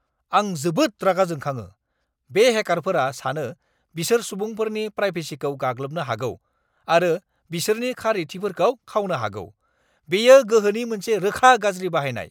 आं जोबोद रागा जोंखाङो - बे हेकारफोरा सानो बिसोर सुबुंफोरनि प्राइभेसिखौ गाग्लोबनो हागौ आरो बिसोरनि खारिथिफोरखौ खावनो हागौ। बेयो गोहोनि मोनसे रोखा गाज्रि बाहायनाय!